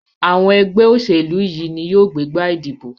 Àwọn ẹgbẹ́ òṣèlú yìí ní yóó gbégbá ìdìbò.